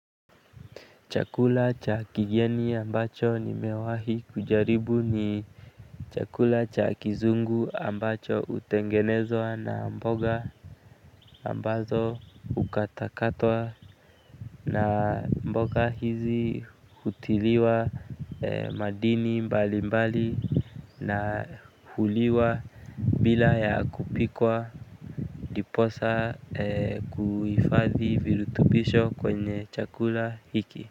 Chakula cha kigeni ambacho nimewahi kujaribu ni chakula cha kizungu ambacho hutengenezwa na mboga ambazo hukata katwa. Na mboga hizi hutiliwa madini mbali mbali na huliwa bila ya kupikwa ndiposa kuhifadhi virutubisho kwenye chakula hiki.